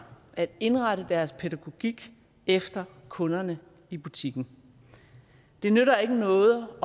at indrette deres pædagogik efter kunderne i butikken det nytter ikke noget